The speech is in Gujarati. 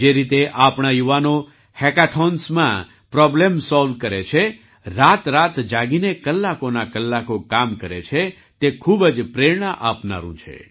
જે રીતે આપણા યુવાનો હેકાથૉન્સમાં પ્રૉબ્લેમ સૉલ્વ કરે છે રાતરાત જાગીને કલાકોના કલાકો કામ કરે છે તે ખૂબ જ પ્રેરણા આપનારું છે